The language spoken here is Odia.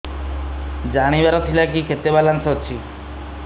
ଜାଣିବାର ଥିଲା କି କେତେ ବାଲାନ୍ସ ଅଛି